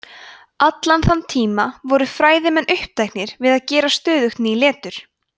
allan þann tíma voru fræðimenn uppteknir við að gera stöðugt ný letur